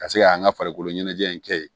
Ka se ka an ka farikoloɲɛnajɛ in kɛ yen